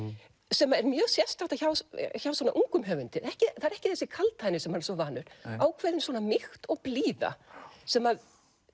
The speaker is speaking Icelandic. sem er mjög sérstakt hjá svona ungum höfundi það er ekki þessi kaldhæðni sem maður er svo vanur ákveðin mýkt og blíða sem